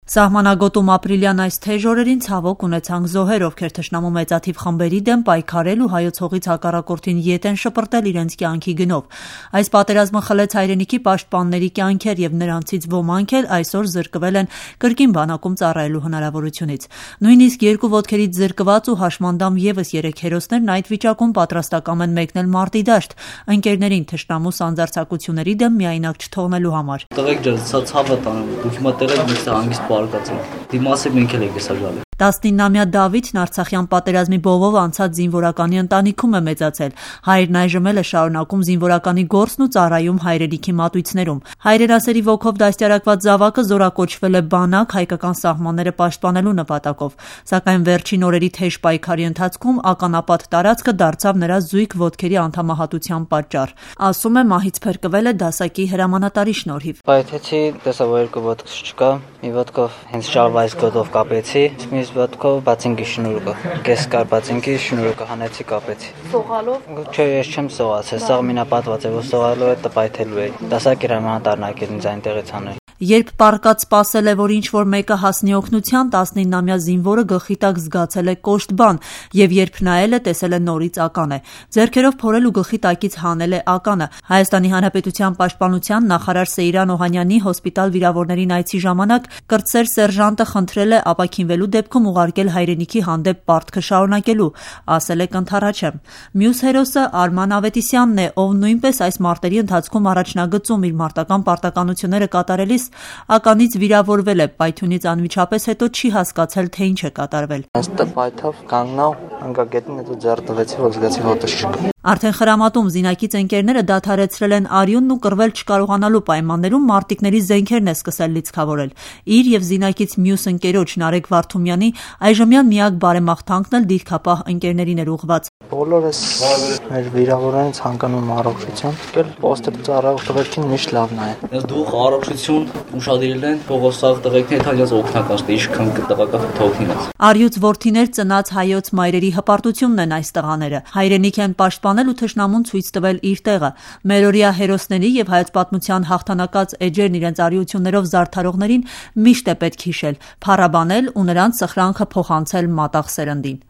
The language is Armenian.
Սահմանագոտում ապրիլյան այս թեժ օրերին, ցավոք ունեցանք զոհեր, ովքեր թշնամու մեծաթիվ խմբերի դեմ պայքարել ու հայոց հողից հակառակորդին ետ են շպրտել իրենց կյանքի գնով: Այս պատերազմը խլեց հայրենիքի պաշտպանների կյանքեր և նրանցից ոմանք էլ այսօր զրկվել են կրկին բանակում ծառայելու հնարավորությունից: Նույնիսկ երկու ոտքերից զրկված ու հաշմանդամ ևս երեք հերոսներն այդ վիճակում պատրաստակամ են մեկնել մարտի դաշտ՝ ընկերներին թշնամու սանձարձակությունների դեմ միայնակ չթողնելու համար: «Ձեր ցավը տանեմ տղե՛րք ջան, պինդ կացեք մինչև մենք էլ ենք գալու հասնենք»: 19 –ամյա Դավիթը արցախյան պատերազմի բովով անցած զինվորականի ընտանքիում է մեծացել: Հայրն այժմ էլ է շարունակում զինվորականի գործն ու ծառայում հայրենիքի մատույցներում: Հայրենասերի ոգով դաստիարակված զավակը զորակոչվել է բանակ՝ հայկական սահմանները պաշտպանելու նպատակով: Սակայն վերջին օրերի թեժ պայքարի ընթացքում ականապատ տարածքը դարձավ նրա զույգ ոտքերի անդամահատության պատճառ: Ասում է՝ մահից փրկվել է դասակի հրամանատարի շնորհիվ: «Նռնակը պայթեց, տեսա, որ երկու ոտքս չկա: Մի ոտքս շալվարիս գոտով կապեցի, մյուսն էլ բատինկիս շնորոքով: Չեմ սողացել, սաղ մինապատված էր, կպայթեի, դասակիս հրամանատարը եկավ հանեց»: Երբ պառկած սպասել է, որ ինչ որ մեկը հասնի օգնության, 19-ամյա զինվորը գլխի տակ զգացել է կոշտ բան և երբ նայել է՝ տեսել է նորից ական է: Ձեռքերով փորել ու գլխի տակից հանել է ականը: ՀՀ ՊՆ նախարար Սեյրան Օհանյանի՝ հոսպիտալ վիրավորներին այցի ժամանակ կրտսեր սերժանտը խնդրել է ապաքինվելու դեպքում ուղարկել հայրենիքի հանդեպ պարտքը շարունակելու: Ասել է կընդառաջեմ: Մյուս հերոսը Արման Ավետիսյանն է, ով նույնպես այս մարտերի ընթացքում առաջնագծում իր մարտական պարտականությունները կատարելիս՝ ականից վիրավորվել է Պայթյունից անմիջապես հետո չի հասկացել, թե ինչ է կատարվել: «Հենց պայթավ, կանգնա, ընգա գետնին, ձեռք տվեցի զգացի որ ոտքս չկա»: Արդեն խրամատում զինակից ընկերները դադարեցրել են արյունն ու կռվել չկարողանալու պայմաններում մարտընկերների զենքերն է սկսել լիցքավորել: Իր և զինակից մյուս ընկերոջ՝ Նարեկ Վարդումյանի, այժմյան միակ բարեմաղթանքն էլ դիրքապահ ընկերներին էր ուղղված: «Բոլոր էս մեր վիրավորներին ցանկանում եմ առողջություն, մեկ էլ պոստեր ծառայող տղերքին միշտ լավ նայեն: Իրանց դուխ, առողջություն, ուշադիր լինեն, թող ստեղ ինչքան տղա կա գնան օգնեն մեր տղերքին»: Առյուծ որդիներ ծնած հայոց մայրերի հպարտությունն են այս տղաները՝ հայրենիք են պաշտպանել ու թշնամուն ցույց տվել իր տեղը: Մերօրյա հերոսների և հայոց պատմության հաղթանակած էջերն իրենց արիություններով զարդարողներին միշտ է պետք է հիշել, փառաբանել ու նրանց սխրանքը փոխանցել մատաղ սերնդին: